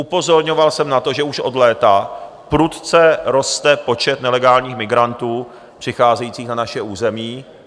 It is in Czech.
Upozorňoval jsem na to, že už od léta prudce roste počet nelegálních migrantů přicházejících na naše území.